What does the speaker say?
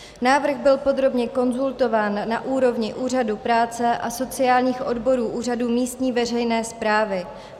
Návrh byl podrobně konzultován na úrovni úřadu práce a sociálních odborů úřadu místní veřejné správy.